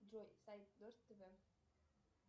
джой сайт дождь тв